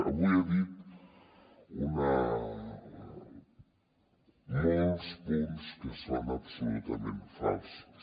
avui ha dit molts punts que són absolutament falsos